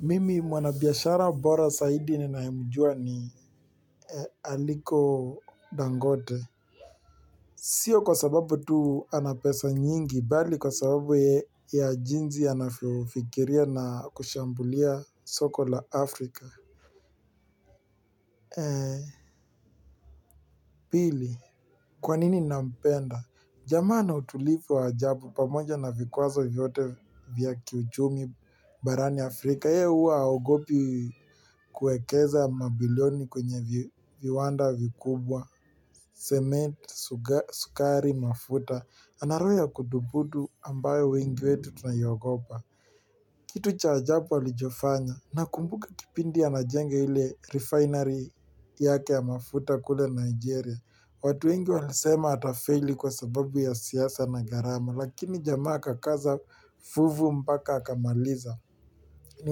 Mimi mwana biashara bora zaidi ninaemjua ni Aliko dangote. Sio kwa sababu tu ana pesa nyingi, bali kwa sababu ya jinsi anavyofikiria na kushambulia soko la Afrika. Pili, kwanini nampenda? Jamaa ana utulivu wa ajabu pamoja na vikwazo vyote vya kiuchumi barani Afrika. Yeye huwa haogopi kuekeza mabilioni kwenye viwanda vikubwa cement, sukari, mafuta. Ana roho ya kudhubutu ambayo wengi wetu tunaiogopa kitu cha ajabu alichofanya nakumbuka kipindi anajenga refinery yake ya mafuta kule nigeria watu wengi walisema atafeli kwa sababu ya siasa na gharama lakina jamaa akakaza fuvu mpaka akamaliza. Ni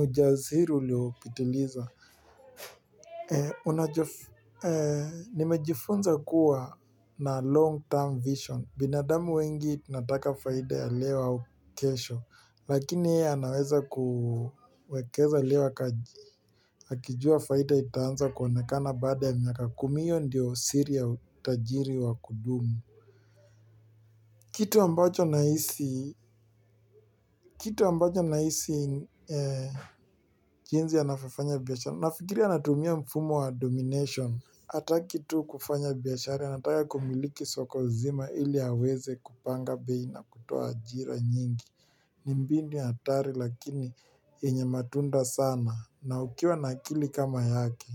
ujasiri uliopitiliza. Nimejifunza kuwa na long term vision. Binadamu wengi tunataka faida ya leo au kesho. Lakini yeye anaweza kuwekeza leo akijua faida itaanza kuonekana baada ya miaka kumi hio ndio siri ya utajiri wa kudumu. Kitu ambacho nahisi kitu ambacho nahisi jinsi anavyofanya biashara nafikiria anatumia mfumo wa domination hataki tu kufanya biashara anataka kumiliki soko zima ili aweze kupanga bei na kutoa ajira nyingi ni mbinu ya hatari lakini yenye matunda sana na ukiwa na akili kama yake.